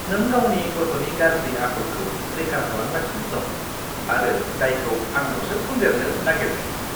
नों गावनि गथ'नि गाज्रि आखलखौ रैखा खालामगासिनो दं आरो दायखौ आंनावसो फुन्देरनो नागेरदों!